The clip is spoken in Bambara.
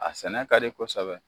A sɛnɛ ka di kɔsɛbɛ.